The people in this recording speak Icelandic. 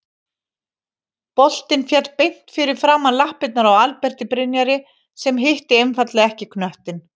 Boltinn féll beint fyrir framan lappirnar á Alberti Brynjari sem hitti einfaldlega ekki knöttinn.